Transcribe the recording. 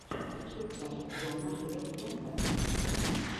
включай джона ледженда